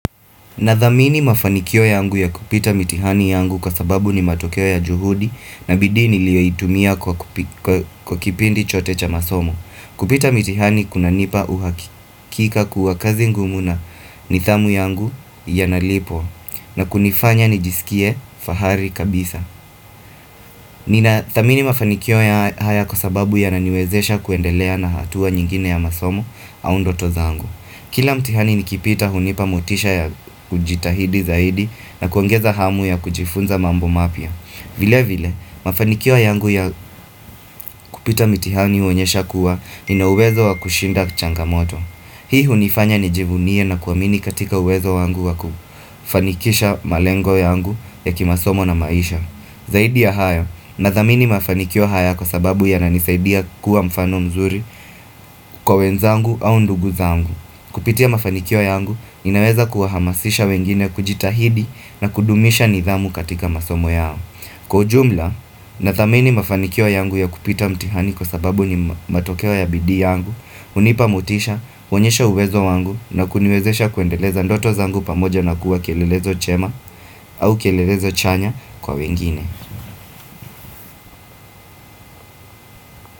Nadhamini mafanikio yangu ya kupita mitihani yangu kwa sababu ni matokeo ya juhudi na bidii niliyo itumia kwa kwa kipindi chote cha masomo. Kupita mitihani kunanipa uhakika kuwa kazi ngumu na nidhamu yangu yanalipwa na kunifanya nijisikie fahari kabisa Ninadhamini mafanikio ya haya kwa sababu yananiwezesha kuendelea na hatua nyingine ya masomo au ndoto zaangu Kila mtihani nikipita hunipa mutisha ya kujitahidi zaidi na kuongeza hamu ya kujifunza mambo mapya vile vile, mafanikio yangu ya kupita mtihani huonyesha kuwa ni na uwezo wa kushinda changamoto Hii hunifanya nijivunie na kuwamini katika uwezo wangu wa kufanikisha malengo yangu ya kimasomo na maisha Zaidi ya haya, nadhamini mafanikio haya kwa sababu yananisaidia kuwa mfano mzuri kwa wenzangu au ndugu zangu. Kupitia mafanikio yangu, inaweza kuwahamasisha wengine kujitahidi na kudumisha nidhamu katika masomo yao Kwa ujumla, nadhamini mafanikio yangu ya kupita mtihani kwa sababu ni matokeo ya bidii yangu. Hunipa mutisha, huonyesha uwezo wangu na kuniwezesha kuendeleza ndoto zangu pamoja na kuwa kielelezo chema au kielelezo chanya kwa wengine.